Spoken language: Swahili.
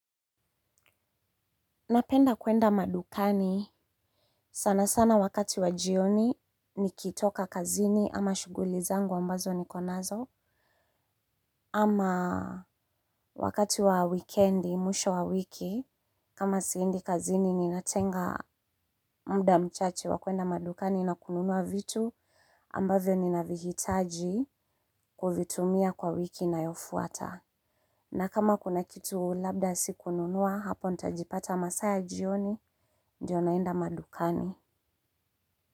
Napenda kwenda madukani. Sanasana wakati wa jioni nikitoka kazini ama shughuli zangu ambazo nikonazo. Ama wakati wa weekendi mwisho wa wiki kama siendi kazini ninatenga muda mchache wa kwenda madukani na kununua vitu ambavyo ninavihitaji kuvitumia kwa wiki inayofuata. Na kama kuna kitu labda sikununua hapo nitajipata masaa ya jioni ndo naenda madukani.